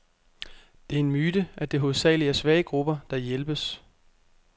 Det er en myte, at det hovedsageligt er svage grupper, der hjælpes.